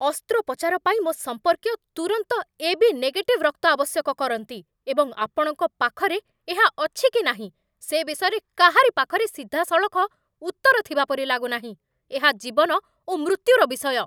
ଅସ୍ତ୍ରୋପଚାର ପାଇଁ ମୋ ସମ୍ପର୍କୀୟ ତୁରନ୍ତ ଏ ବି ନେଗେଟିଭ୍ ରକ୍ତ ଆବଶ୍ୟକ କରନ୍ତି, ଏବଂ ଆପଣଙ୍କ ପାଖରେ ଏହା ଅଛି କି ନାହିଁ ସେ ବିଷୟରେ କାହାରି ପାଖରେ ସିଧାସଳଖ ଉତ୍ତର ଥିବାପରି ଲାଗୁନାହିଁ ଏହା ଜୀବନ ଓ ମୃତ୍ୟୁର ବିଷୟ!